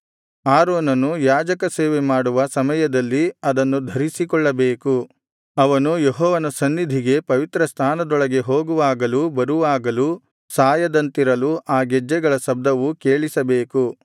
ಆರೋನನು ಯಾಜಕ ಸೇವೆ ಮಾಡುವ ಸಮಯದಲ್ಲಿ ಅದನ್ನು ಧರಿಸಿಕೊಳ್ಳಬೇಕು ಅವನು ಯೆಹೋವನ ಸನ್ನಿಧಿಗೆ ಪವಿತ್ರಸ್ಥಾನದೊಳಗೆ ಹೋಗುವಾಗಲೂ ಬರುವಾಗಲೂ ಸಾಯದಂತಿರಲು ಆ ಗೆಜ್ಜೆಗಳ ಶಬ್ದವು ಕೇಳಿಸಬೇಕು